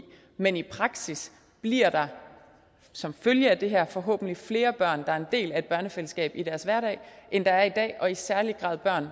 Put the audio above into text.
men i praksis bliver der som følge af det her forhåbentlig flere børn der er en del af et børnefællesskab i deres hverdag end der er i dag og i særlig grad børn